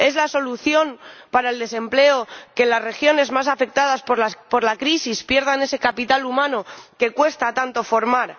¿Es la solución para el desempleo que las regiones más afectadas por la crisis pierdan ese capital humano que tanto cuesta formar?